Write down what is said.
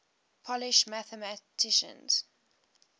polish mathematicians